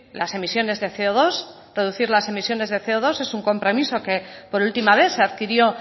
las emisiones de ce o dos reducir las emisiones del ce o dos es un compromiso que por última vez se adquirió